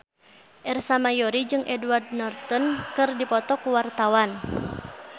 Ersa Mayori jeung Edward Norton keur dipoto ku wartawan